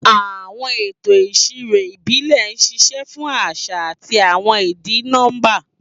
Àwọn ètò ìṣirò ìbílẹ̀ ń ṣiṣẹ́ fún àṣà àti àwọn ìdí nọ́bà.